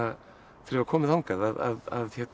ég var kominn þangað að